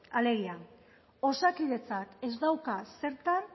alegia osakidetzak ez dauka zertan